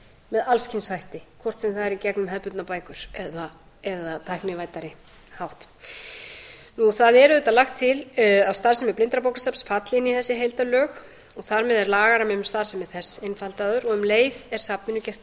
með alls kyns hætti hvort sem það er í gegnum hefðbundnar bækur eða á tæknivæddari hátt það er auðvitað lagt til að starfsemi blindrabókasafns falli inn í þessi heildarlög og þar með er lagarammi um starfsemi þess einfaldaður og um leið er safninu gert